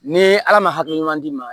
Ni ala ma hakilina ɲuman d'i ma